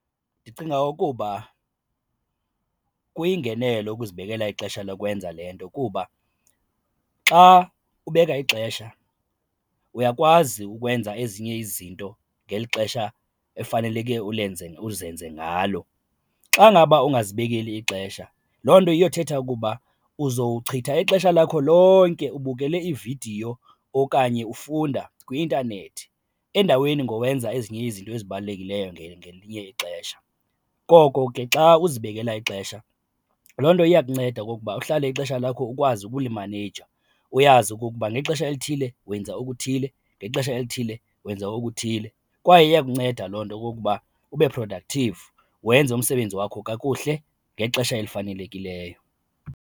Ndicinga ukuba kuyingenelo ukuzibekela ixesha lokwenza le nto kuba xa ubeka ixesha uyakwazi ukwenza ezinye izinto ngeli xesha efaneleke ulenze uzenze ngalo. Xa ngaba ungazibekeli ixesha loo nto iyothetha ukuba uzochitha ixesha lakho lonke ubukele iividiyo okanye ufunda kwi-intanethi endaweni ngowenza ezinye izinto ezibalulekileyo ngelinye ixesha. Koko ke xa uzibekela ixesha loo nto iyakunceda okokuba uhlale ixesha lakho ukwazi ukulimaneja, uyazi okokuba ngexesha elithile wenza okuthile, ngexesha elithile wenza okuthile kwaye iyakunceda loo nto okokuba ube productive wenze umsebenzi wakho kakuhle ngexesha elifanelekileyo.